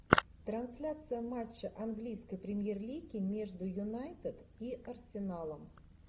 трансляция матча английской премьер лиги между юнайтед и арсеналом